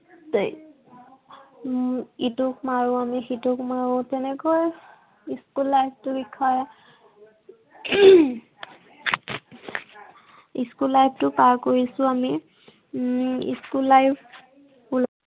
উম ইটোক মাৰো আমি সিটোক মাৰো। তেনেকৈ, school life টোৰ বিষয়ে school life টো পাৰ কৰিছো আমি। উম school life